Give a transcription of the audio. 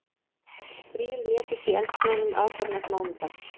Þrír létust í eldsvoðanum aðfararnótt mánudags